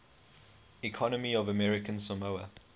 economy of american samoa